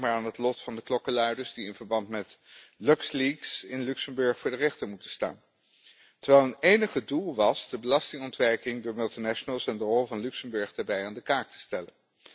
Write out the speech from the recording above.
Denk maar aan het lot van de klokkenluiders die in verband met Luxleaks in Luxemburg voor de rechter moeten staan, terwijl hun enige doel was om de belastingontwijking door multinationals en de rol van Luxemburg daarbij aan de kaak te stellen.